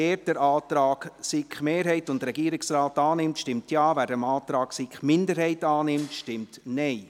Wer den Antrag der SiK-Mehrheit und des Regierungsrates annimmt, stimmt Ja, wer den Antrag der SiK-Minderheit annimmt, stimmt Nein.